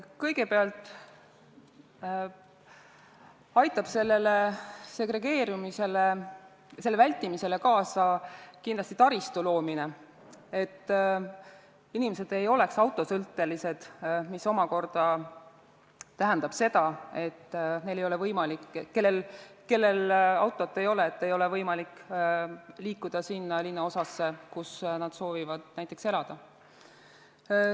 Kõigepealt aitab segregeerumise vältimisele kindlasti kaasa taristu loomine, et inimesed ei oleks autosõltelised, mis omakorda tähendab seda, et neil, kellel autot ei ole, ei ole võimalik liikuda sinna linnaosasse, kus nad soovivad näiteks elada.